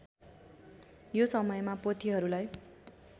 यो समयमा पोथीहरूलाई